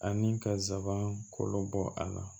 Ani ka zanban kolo bɔ a la